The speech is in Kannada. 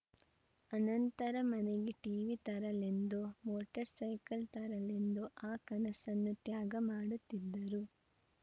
ಅನಂತರ ಮನೆಗೆ ಟೀವಿ ತರಲೆಂದೋ ಮೋಟರ್‌ಸೈಕಲ್‌ ತರಲೆಂದೋ ಆ ಕನಸನ್ನು ತ್ಯಾಗ ಮಾಡುತ್ತಿದ್ದರು